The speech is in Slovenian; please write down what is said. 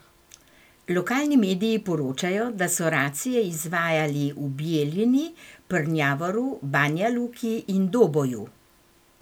Lokalni mediji poročajo, da so racije izvajali v Bijeljini, Prnjavoru, Banja Luki in Doboju.